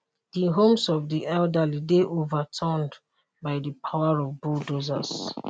di homes of di elderly dey overturned by di power of bulldozers